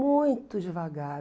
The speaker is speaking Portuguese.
Muito devagar.